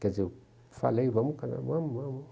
Quer dizer, eu falei, vamos casar, vamos, vamos.